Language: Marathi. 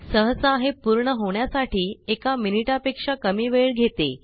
सहसा हे पूर्ण होण्यासाठी एका मिनिटा पेक्षा कमी वेळ घेते